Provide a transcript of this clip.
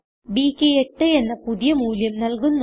ബ്ക്ക് 8 എന്ന പുതിയ മൂല്യം നല്കുന്നു